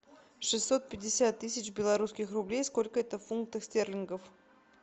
шестьсот пятьдесят тысяч белорусских рублей сколько это фунтов стерлингов